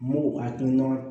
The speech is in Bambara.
M'u hakilina